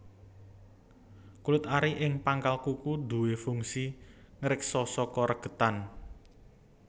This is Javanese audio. Kulit ari ing pangkal kuku duwé fungsi ngreksa saka regetan